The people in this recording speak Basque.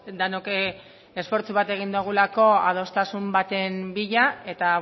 denok esfortzu bat egin dugulako adostasun baten bila eta